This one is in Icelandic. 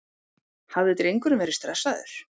Hafði drengurinn verið stressaður?